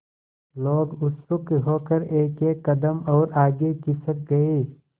लोग उत्सुक होकर एकएक कदम और आगे खिसक गए